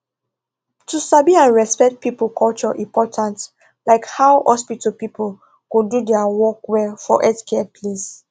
to sabi and respect people culture important like how hospital people go do their work well for healthcare place